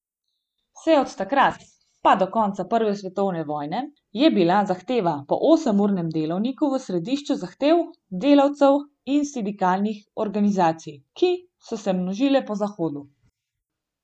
Vse od takrat pa do konca prve svetovne vojne je bila zahteva po osemurnem delovniku v središču zahtev delavcev in sindikalnih organizacij, ki so se množile po Zahodu.